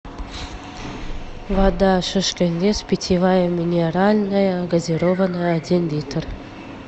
вода шишкин лес питьевая минеральная газированная один литр